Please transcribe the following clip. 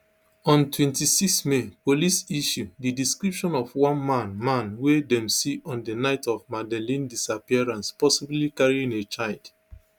ontwenty-six may police issue di description of one man man wey dem see on di night of madeleine disappearance possibly carrying a child